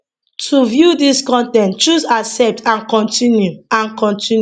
to view dis con ten t choose accept and continue and continue